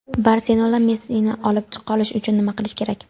"Barselona" Messini olib qolish uchun nima qilishi kerak?.